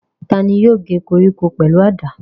Ta ni yóò gé koríko pẹ̀lú àdá?